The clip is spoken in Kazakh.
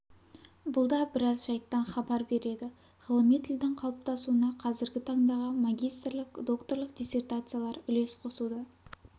бұл да біраз жайттан хабар береді ғылыми тілдің қалыптасуына қазіргі таңдағы магистрлік докторлық диссретациялар үлес қосуда